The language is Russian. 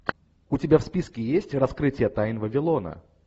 у тебя в списке есть раскрытие тайн вавилона